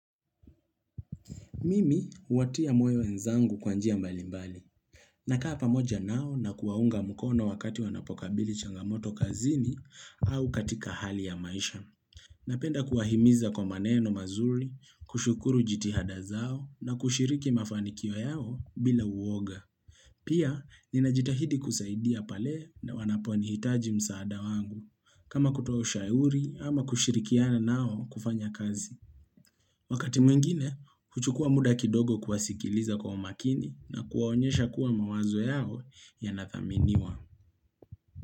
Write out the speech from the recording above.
Mimi huwatia moyo wenzangu kwa njia mbalimbali. Nakaa pamoja nao na kuwaunga mkono wakati wanapokabili changamoto kazini au katika hali ya maisha. Napenda kuwahimiza kwa maneno mazuri, kushukuru jitihada zao na kushiriki mafanikio yao bila uwoga. Pia, ninajitahidi kusaidia pale na wanaponihitaji msaada wangu. Kama kutoa ushauri ama kushirikiana nao kufanya kazi. Wakati mwingine, huchukua muda kidogo kuwasikiliza kwa umakini na kuwaonyesha kuwa mawazo yao yanathaminiwa.